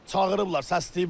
Çağırıblar, səsləyiblər.